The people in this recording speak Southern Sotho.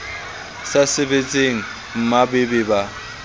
sa sebetseng mmba be ba